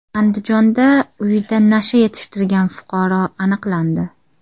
Andijonda uyida nasha yetishtirgan fuqaro aniqlandi.